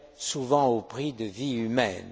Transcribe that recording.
souvent au prix de vies humaines.